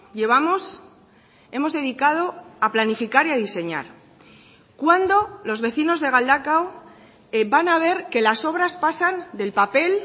llevamos hemos dedicado a planificar y a diseñar cuándo los vecinos de galdakao van a ver que las obras pasan del papel